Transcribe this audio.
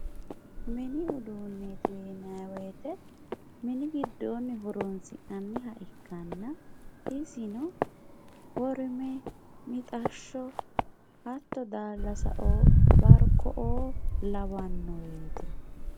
Minni udeneti yinayi woyitte minni gidonni honsinaha ikanna isino worime mixashoo hatto dalasao barikoo lawanoretti